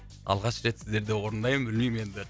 алғаш рет сіздерде орындаймын білмеймін енді